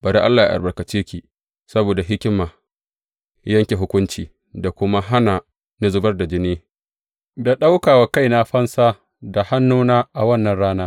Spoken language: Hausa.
Bari Allah yă albarkace ki saboda hikima yanke hukuncinki da kuma hana ni zubar da jini da ɗauka wa kaina fansa da hannuna a wannan rana.